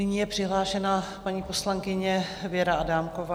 Nyní je přihlášena paní poslankyně Věra Adámková